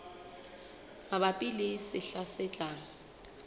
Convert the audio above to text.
mabapi le sehla se tlang